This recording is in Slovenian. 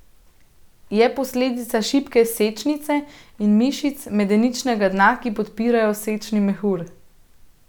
Je posledica šibke sečnice in mišic medeničnega dna, ki podpirajo sečni mehur.